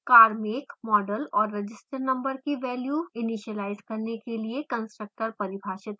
car make model और register number की values initialize करने के लिए constructor परिभाषित करें